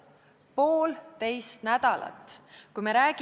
Poolteist nädalat!